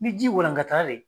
Ni ji walankatala dɛ